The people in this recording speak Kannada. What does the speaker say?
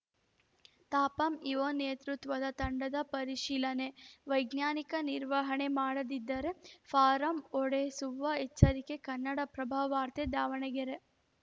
ತಾಪಂ ಇಓ ನೇತೃತ್ವದ ತಂಡದ ಪರಿಶೀಲನೆ ವೈಜ್ಞಾನಿಕ ನಿರ್ವಹಣೆ ಮಾಡದಿದ್ದರೆ ಫಾರಂ ಒಡೆಸುವ ಎಚ್ಚರಿಕೆ ಕನ್ನಡಪ್ರಭವಾರ್ತೆ ದಾವಣಗೆರೆ